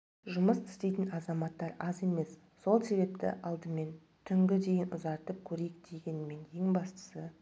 жұмыс істейтін азаматтар аз емес сол себепті алдымен түнгі дейін ұзартып көрейік дегенмен ең бастысы